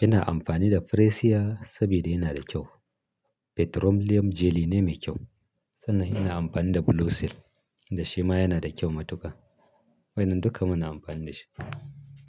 Ina amfani da Fresia saboda yana da kyau. Petroleum jelly ne mai kyau sannan ina amfani da Blue Seal da shi ma yana da kyau matuƙa. Waɗannan duka muna amfani da shi.